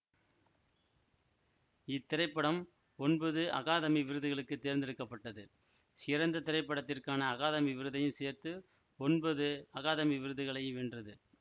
இத்திரைப்படம் ஒன்பது அகாதமி விருதுகளுக்கு தேர்ந்தெடுக்க பட்டது சிறந்த திரைப்படத்திற்கான அகாதமி விருதையும் சேர்த்து ஒன்பது அகாதமி விருதுகளையும் வென்றது